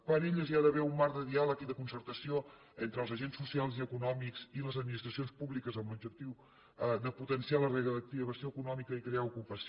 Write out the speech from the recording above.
per a elles hi ha d’haver un marc de diàleg i de concertació entre els agents socials i econòmics i les administracions públiques amb l’objectiu de potenciar la reactivació econòmica i crear ocupació